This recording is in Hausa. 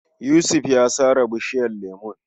Yusuf ya sare bishiyar lemon.